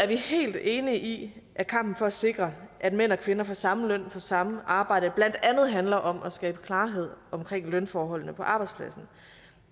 vi helt enige i at kampen for at sikre at mænd og kvinder får samme løn for samme arbejde blandt andet handler om at skabe klarhed omkring lønforholdene på arbejdspladsen